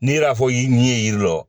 N'i y'a fɔ i ɲɛ ye yiri la